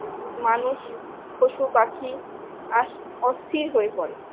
মানুষ পশুপাখি আস অস্থির হয়ে পরে